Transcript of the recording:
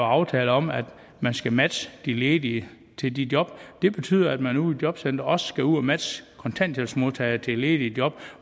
aftaler om at man skal matche de ledige til de job det betyder at man ude i jobcenteret også skal ud at matche kontanthjælpsmodtagere til ledige job